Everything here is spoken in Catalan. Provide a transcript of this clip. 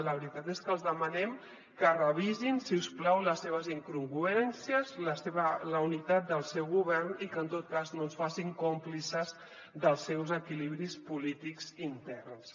la veritat és que els demanem que revisin si us plau les seves incongruències la unitat del seu govern i que en tot cas no ens facin còmplices dels seus equilibris polítics interns